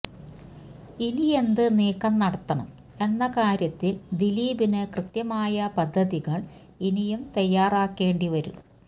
ഇനിയെന്ത് നീക്കം നടത്തണം എന്ന കാര്യത്തില് ദിലീപിന് കൃത്യമായ പദ്ധതികള് ഇനിയും തയ്യാറാക്കേണ്ടി വരും